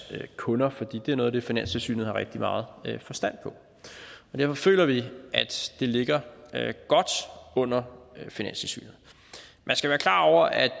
kunder for det er noget af det finanstilsynet har rigtig meget forstand på derfor føler vi at det ligger godt under finanstilsynet man skal være klar over at